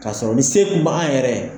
Ka sɔrɔ ni se kun bɛ an yɛrɛ ye.